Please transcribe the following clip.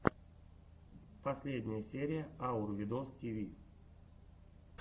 последняя серия аур видостиви